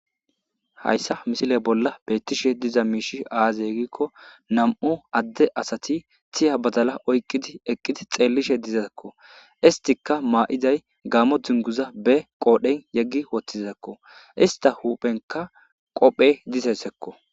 Hayssa misile bolla beettishe diza miishi aazeggikko nam'u adde asati tiya badala oyqqidi eqqidi xeellishe dizakko istika maa'iday gaamo dinguza beqoodhen yeggi woththiakko ista huphenka qophe disesekko